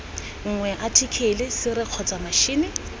nngwe athikele sere kgotsa matšhini